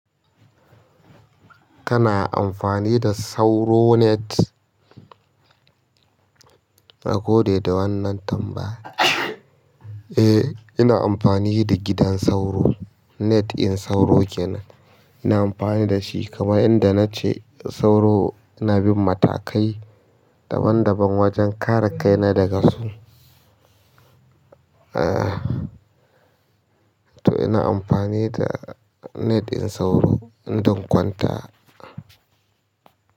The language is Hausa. Kana amfani da sauro net? Nagode da wannan tambaya. Eh, ina amfani da gidan sauro net in sauro kenan. Ina amfani da shi kamar inda na ce sauro. Ina bin matakai daban daban wajen kare kaina daga su. E toh ina ampani da net ɗin sauro in zan kwanta.